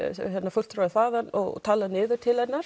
fulltrúi þaðan og talar niður til hennar